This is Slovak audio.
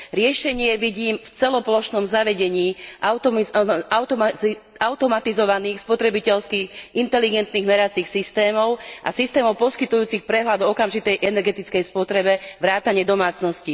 Riešenie vidím v celoplošnom zavedení automatizovaných spotrebiteľských inteligentných meracích systémov a systémov poskytujúcich prehľad okamžitej energetickej spotreby vrátane domácností.